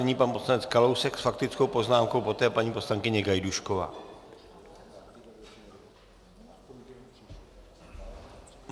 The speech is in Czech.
Nyní pan poslanec Kalousek s faktickou poznámkou, poté paní poslankyně Gajdůšková.